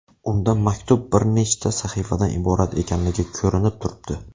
Unda maktub bir nechta sahifadan iborat ekanligi ko‘rinib turibdi.